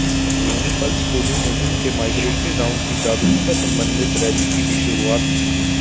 उन्होने pulse polio मुहिम के माईग्रेटरी राउंड की जागरूकता सम्बन्धित रैली की भी शुरुआत की